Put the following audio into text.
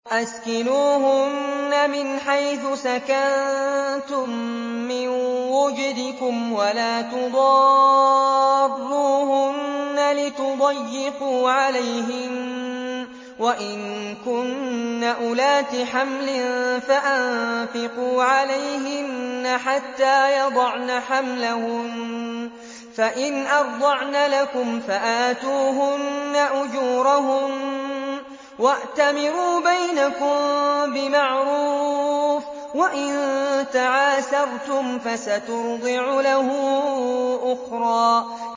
أَسْكِنُوهُنَّ مِنْ حَيْثُ سَكَنتُم مِّن وُجْدِكُمْ وَلَا تُضَارُّوهُنَّ لِتُضَيِّقُوا عَلَيْهِنَّ ۚ وَإِن كُنَّ أُولَاتِ حَمْلٍ فَأَنفِقُوا عَلَيْهِنَّ حَتَّىٰ يَضَعْنَ حَمْلَهُنَّ ۚ فَإِنْ أَرْضَعْنَ لَكُمْ فَآتُوهُنَّ أُجُورَهُنَّ ۖ وَأْتَمِرُوا بَيْنَكُم بِمَعْرُوفٍ ۖ وَإِن تَعَاسَرْتُمْ فَسَتُرْضِعُ لَهُ أُخْرَىٰ